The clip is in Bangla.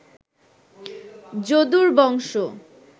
যদুর বংশ